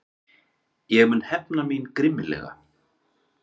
Ég mun hefna mín grimmilega.